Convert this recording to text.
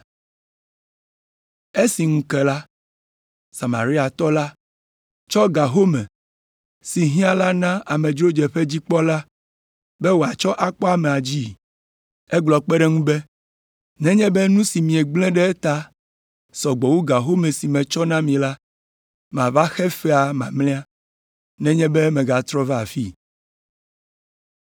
Esi ŋu ke la, Samariatɔ la tsɔ ga home si hiã la na amedzrodzeƒedzikpɔla be wòatsɔ akpɔ amea dzii. Egblɔ kpe ɖe eŋu be, ‘Nenye be nu si miegblẽ ɖe eta sɔ gbɔ wu ga home si metsɔ na mi la, mava xe fea mamlɛa nenye be megatrɔ va afii.’ ”